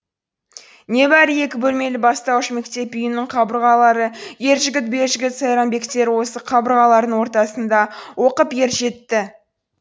небәрі екі бөлмелі бастауыш мектеп үйінің қабырғалары ержігіт белжігіт сайранбектер осы қабырғалардың ортасында оқып ер жетті